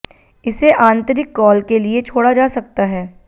इसे आंतरिक कॉल के लिए छोड़ा जा सकता है